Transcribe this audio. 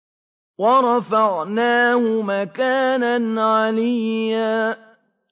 وَرَفَعْنَاهُ مَكَانًا عَلِيًّا